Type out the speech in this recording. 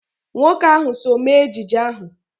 Nwoke ahụ so mee ejije ahụ.